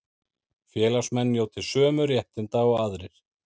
Félagsmenn njóti sömu réttinda og aðrir